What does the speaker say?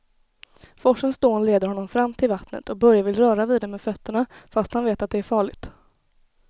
Forsens dån leder honom fram till vattnet och Börje vill röra vid det med fötterna, fast han vet att det är farligt.